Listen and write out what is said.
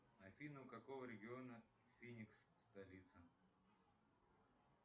афина у какого региона феникс столица